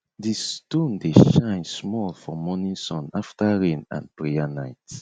di stone dey shine small for morning sun after rain and prayer night